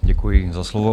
Děkuji za slovo.